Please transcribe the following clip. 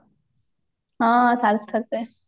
ହଁ ସାର୍ଥକ ରେ